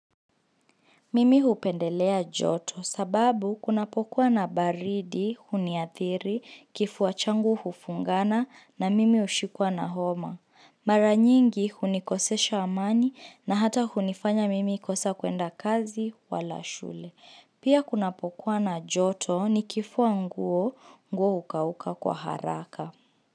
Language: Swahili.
Mimi hupendelea joto sababu kunapokuwa na baridi, huniathiri, kifua changu hufungana na mimi ushikwa na homa. Mara nyingi hunikosesha amani na hata hunifanya mimi kosa kuenda kazi wala shule. Pia kunapokuwa na joto nikifua nguo, nguo ukauka kwa haraka.